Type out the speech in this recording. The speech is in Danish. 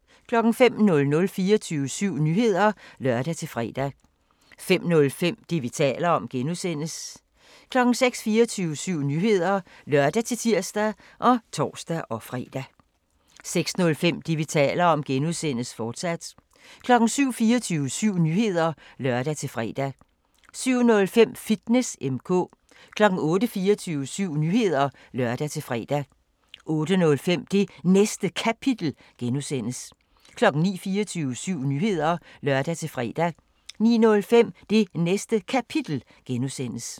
05:00: 24syv Nyheder (lør-fre) 05:05: Det, vi taler om (G) 06:00: 24syv Nyheder (lør-tir og tor-fre) 06:05: Det, vi taler om (G), fortsat 07:00: 24syv Nyheder (lør-fre) 07:05: Fitness M/K 08:00: 24syv Nyheder (lør-fre) 08:05: Det Næste Kapitel (G) 09:00: 24syv Nyheder (lør-fre) 09:05: Det Næste Kapitel (G)